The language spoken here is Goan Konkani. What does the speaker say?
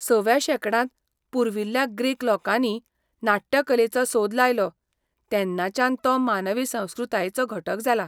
सव्या शेंकड्यांत पुर्विल्ल्या ग्रीक लोकांनी नाट्यकलेचो सोद लायलो तेन्नाच्यान तो मानवी संस्कृतायेचो घटक जाला.